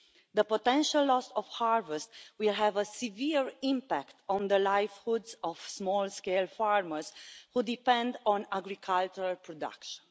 The potential loss of harvest will have a severe impact on the livelihoods of small-scale farmers who depend on agricultural production.